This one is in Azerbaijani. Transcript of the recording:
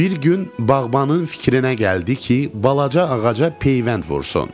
Bir gün bağbanın fikrinə gəldi ki, balaca ağaca peyvənd vursun.